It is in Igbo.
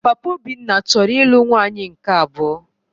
Papa Obinna chọrọ ịlụ nwaanyị nke abụọ